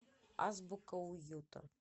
азбука уюта